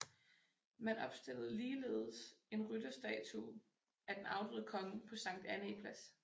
Man opstillede ligeledes en rytterstatue af den afdøde konge på Sankt Annæ Plads